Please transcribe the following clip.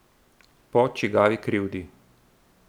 Po čigavi krivdi?